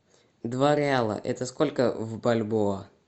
два реала это сколько в бальбоа